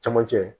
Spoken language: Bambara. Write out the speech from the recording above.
Camancɛ